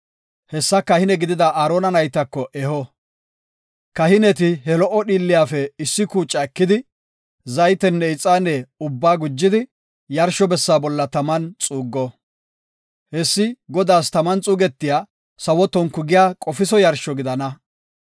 Hessa kahine gidida Aarona naytako eho; kahineti he lo77o dhiilliyafe issi kuuca ekidi, zaytenne ixaane ubbaa gujidi yarsho bessa bolla taman xuuggo. Hessi Godaas taman xuugetiya sawo tonku giya qofiso yarsho gidana.